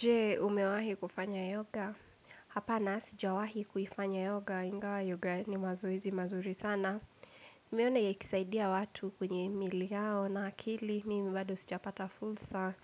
Je umewahi kufanya yoga, hapana sijawahi kuifanya yoga, ingawa yoga ni mazoezi mazuri sana. Nimeona ikisaidia watu kwenye miili yao na akili, mimi bado sijapata fursa